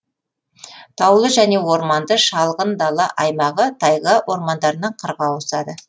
таулы және орманды шалғын дала аймағы тайга ормандарынан қырға ауысады